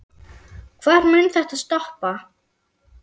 Hvar mun þetta stoppa?